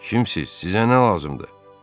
Kimsiz, sizə nə lazımdır?